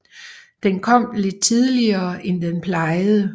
Den kom lidt tidligere end den plejede